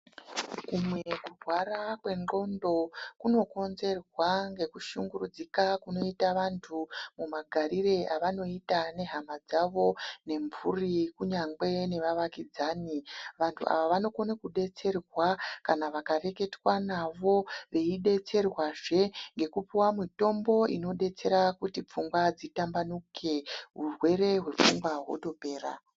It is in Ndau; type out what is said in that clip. Kumwe kurwara kwengxondo kunokonzerwa ngekushungurudzika kunoite vantu mumagarire avanoite nehama dzavo nemhuri kunyangwe nevavakidzani vantu ava vanokone kudetserwa kana vakareketwa navo beyidetserwa zvee ngekupiwa mitombo inodetsera kuti pfungwa dzitambanuke hurwere hwepfungwa wotopera.